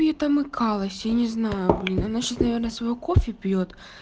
ей там икалось я не знаю блин она сейчас наверное своё кофе пьёт